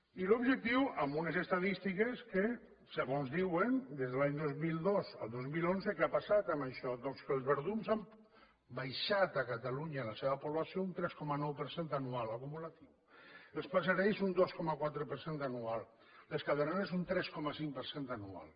i l’objectiu amb unes estadístiques en què segons diuen de l’any dos mil dos al dos mil onze què ha passat amb això doncs que els verdums han baixat a catalunya la seva població un tres coma nou per cent anual acumulatiu els passerells un dos coma quatre per cent anual les caderneres un tres coma cinc per cent anual